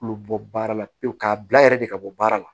U bɛ bɔ baara la pewu k'a bila yɛrɛ de ka bɔ baara la